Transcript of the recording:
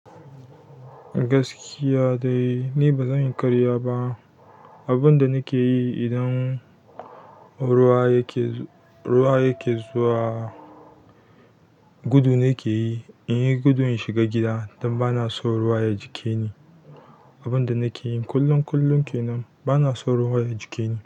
Gaskiya dai, ni ba zan yi karya ba. Abun da nake yi idan ruwa yake zuwa gudu ne ke yi. In yi gudu in shiga gida don ba na son ruwa ya ji ke ni. Abun da nake yin kullum kullum kenan, ba na son ruwa ya ji ke ni.